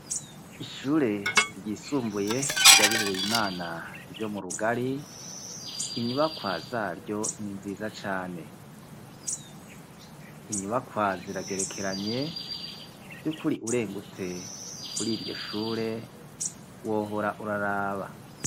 Ishure ryisumbuye ry'abihebeye Imana ryo mu Rugari, inyubakwa zaryo ni nziza cane, inyubakwa ziragerekeranye, vy'ukuri urengutse kuri iryo shure wohora uraraba.